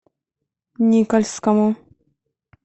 никольскому